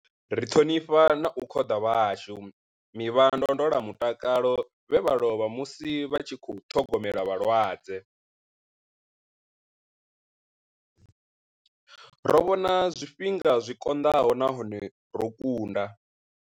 Ri ṱhonifha na u khoḓa vhashumi vha ndondolamutakalo vhe vha lovha musi vha tshi khou ṱhogomela vhalwadze. Ro vhona zwifhinga zwi konḓaho nahone ro kunda.